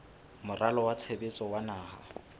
moralo wa tshebetso wa naha